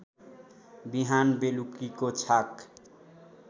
बिहान बेलुकीको छाक